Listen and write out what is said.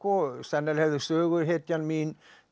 sennilega hefði söguhetjan mín